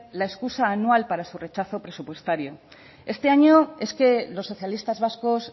la excusa anual para su rechazo presupuestario este año es que los socialistas vascos